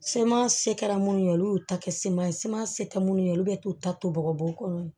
Seman se kɛra minnu ye olu y'u ta kɛ seman ye se kɛ minnu ye olu bɛ t'u ta to bɔgɔbugukolo ye